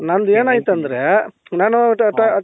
ನಂದು ಏನ್ ಅಯ್ತು ಅಂದ್ರೆ ನಾನು ಟ ಟ